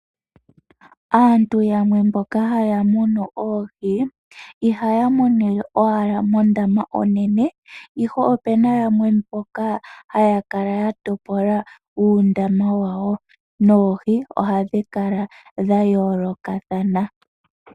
Aantu mbono haya munu oohi ihaya munile owala mondama onene, ihe ope na yamwe mboka haya kala ya topola uundama wawo noohi ohadhi kala dha yoolokothana.